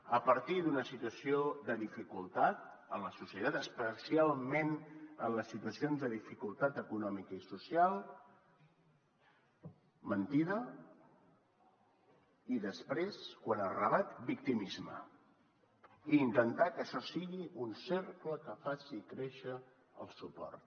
a partir d’una situació de dificultat en la societat especialment en les situacions de dificultat econòmica i social mentida i després quan es rebat victimisme i intentar que això sigui un cercle que faci créixer el suport